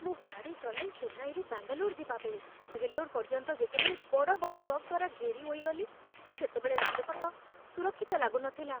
ମୁଁ ଗାଡ଼ି ଚଳାଇ ଚେନ୍ନାଇରୁ ବାଙ୍ଗାଲୋର ଯିବାବେଳେ ଭେଲୋର ପର୍ଯ୍ୟନ୍ତ ଯେତେବେଳେ ବଡ଼ ବଡ଼ ଟ୍ରକ୍ ଦ୍ୱାରା ଘେରି ହୋଇଗଲି, ସେତେବେଳେ ରାଜପଥ ସୁରକ୍ଷିତ ଲାଗୁନଥିଲା।